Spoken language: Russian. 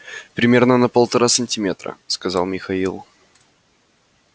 примерно на полтора сантиметра сказал михаил